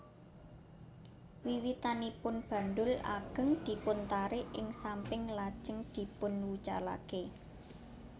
Wiwitanipun bandul agéng dipuntarik ing samping lajéng dipunwucalaké